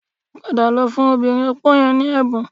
Padà lọ fún obìnrin opó yẹn ní ẹ̀bùn